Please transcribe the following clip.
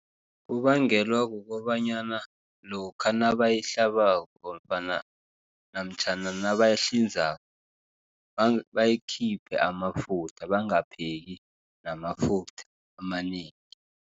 Kubangelwa kukobanyana, lokha nabayihlabako, nofana, namtjhana nabayihlinzako, bayikhipha amafutha, bangapheki namafutha amanengi.